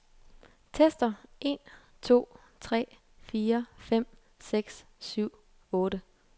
Tester en to tre fire fem seks syv otte.